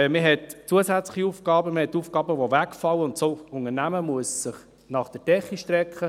Man hat zusätzliche Aufgaben, und man hat Aufgaben, die wegfallen, und das Unternehmen muss sich nach der Decke strecken.